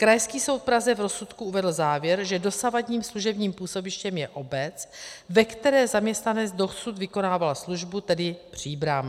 Krajský soud v Praze v rozsudku uvedl závěr, že dosavadním služebním působištěm je obec, ve které zaměstnanec dosud vykonával službu, tedy Příbram.